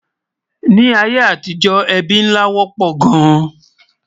Nì ayé àtijó, ébí nlá wópò gán